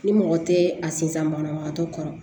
Ni mɔgɔ tɛ a sinsan banabagatɔ kɔrɔ